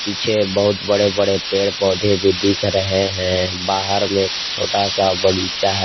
पीछे बहुत बड़े बड़े पेड़ पौधे भी दिख रहे हैं बाहर में एक छोटा सा बगीचा है।